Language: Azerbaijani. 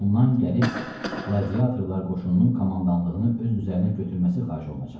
Ondan gəlib qladiatorlar qoşununun komandanlığını öz üzərinə götürməsi xahiş olunacaqdı.